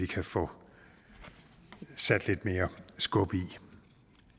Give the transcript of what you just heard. kan få sat lidt mere skub